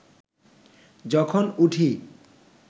যখন উঠি